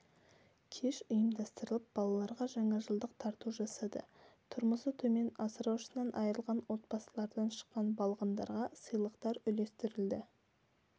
кеш ұйымдастырып балаларға жаңажылдық тарту жасады тұрмысы төмен асыраушысынан айрылған отбасылардан шыққан балғындарға сыйлықтар үлестірілді